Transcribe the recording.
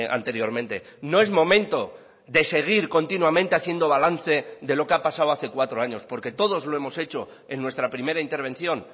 anteriormente no es momento de seguir continuamente haciendo balance de lo que ha pasado hace cuatro años porque todos lo hemos hecho en nuestra primera intervención